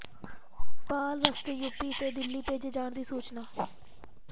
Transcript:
ਨੇਪਾਲ ਰਸਤੇ ਯੂਪੀ ਤੇ ਦਿੱਲੀ ਭੇਜੇ ਜਾਣ ਦੀ ਸੂਚਨਾ